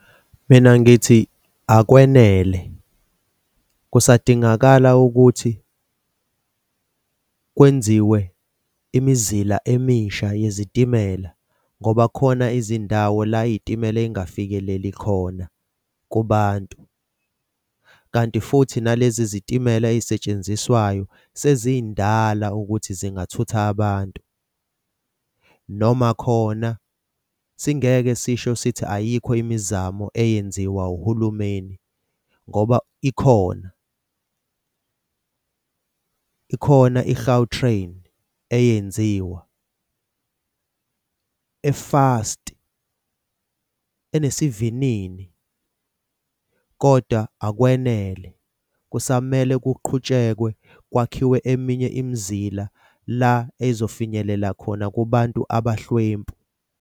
Mina ngithi akwenele, kusadingakala ukuthi kwenziwe imizila emisha yezitimela ngoba khona izindawo la iy'timela ey'ngafikeleli khona kubantu. Kanti futhi nalezi zitimela ey'setshenziswayo seziy'ndala ukuthi zingathutha abantu. Noma khona singeke sisho sithi ayikho imizamo eyenziwa uhulumeni ngoba ikhona, ikhona i-Gautrain eyenziwa, efasti, enesivinini. Kodwa akwenele kusamele kuqhutshekwe kwakhiwe eminye imizila la kuzofinyelela khona kubantu abahlwempu.